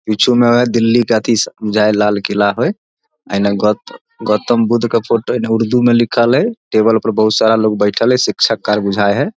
पिछु में दिल्ली के अथी से जाय लाल किला हेय एने गोत गौतम बुद्ध के फोटो उर्दू में लिखल हेय टेबल पर बहुत सारा लोग बैठएल हेय शिक्षक आर बुझाए हेय।